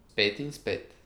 Spet in spet.